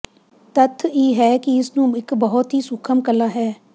ਤੱਥ ਇਹ ਹੈ ਕਿ ਇਸ ਨੂੰ ਇੱਕ ਬਹੁਤ ਹੀ ਸੂਖਮ ਕਲਾ ਹੈ